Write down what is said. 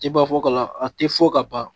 E b'a fɔ k'a la a tɛ fɔ ka ban